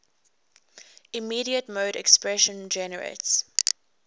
immediate mode expression generates